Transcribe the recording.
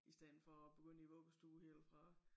I stedet for at begynde i vuggestue helt fra